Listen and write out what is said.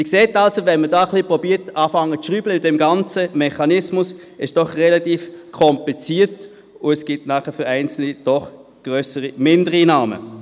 Sie sehen, wenn man versucht am ganzen Mechanismus zu schrauben, ist es doch relativ kompliziert und bedeutet für Einzelne doch grössere Mindereinnahmen.